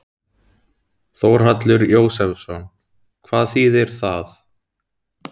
Þórhallur Jósefsson: Hvað þýðir það?